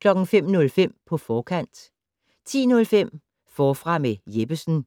05:05: På forkant 10:05: Forfra med Jeppesen 12:07: